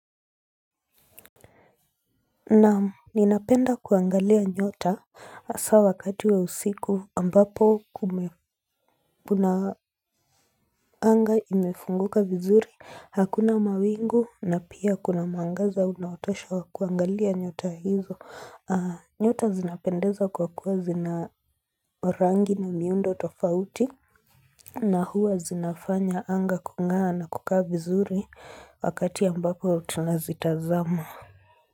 Naam, ninapenda kuangalia nyota hasaa wakati wa usiku ambapo kuna anga imefunguka vizuri, hakuna mawingu na pia kuna mwangaza unaotosha wa kuangalia nyota hizo. Nyota zinapendeza kwa kuwa zina rangi na miundo tofauti na huwa zinafanya anga kung'aa na kukaa vizuri wakati ambapo tunazitazama.